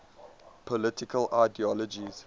political ideologies